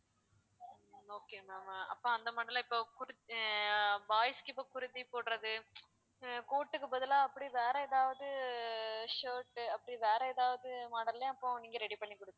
okay ma'am அப்ப அந்த model ல இப்ப kur~ ஆ boys க்கு இப்போ kurti போடுறது அஹ் coat க்கு பதிலா அப்படி வேற எதாவது shirt அப்படி வேற ஏதாவது model ல அப்போ நீங்க ready பண்ணிக் கொடுப்பீங்க